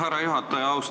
Härra juhataja!